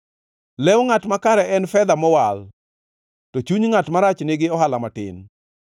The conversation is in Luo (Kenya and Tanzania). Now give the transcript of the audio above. Lew ngʼat makare en fedha mowal, to chuny ngʼat marach nigi ohala matin.